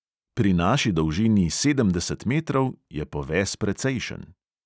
Pri naši dolžini sedemdeset metrov je poves precejšen.